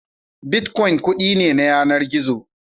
Bitkwon kuɗi ne na yanar gizo